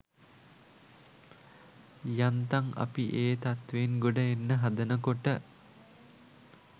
යම් තම් අපි ඒ තත්වයෙන් ගොඩ එන්න හදනකොට